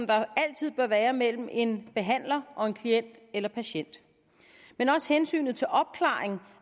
der altid bør være mellem en behandler og en klient eller patient men også hensynet til opklaringen